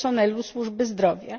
personelu służby zdrowia.